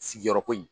Sigiyɔrɔ ko in